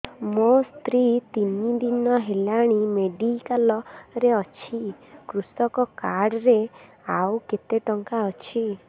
ମୋ ସ୍ତ୍ରୀ ତିନି ଦିନ ହେଲାଣି ମେଡିକାଲ ରେ ଅଛି କୃଷକ କାର୍ଡ ରେ ଆଉ କେତେ ଟଙ୍କା ଅଛି